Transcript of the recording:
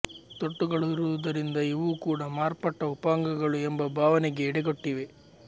ತೊಟ್ಟುಗಳಿರುವುದರಿಂದ ಇವೂ ಕೂಡ ಮಾರ್ಪಟ್ಟ ಉಪಾಂಗಗಳು ಎಂಬ ಭಾವನೆಗೆ ಎಡೆಕೊಟ್ಟಿವೆ